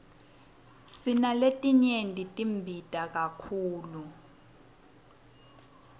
sinaletinye tibita kakhulu